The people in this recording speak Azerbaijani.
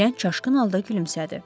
Gənc çaşqın halda gülümsədi.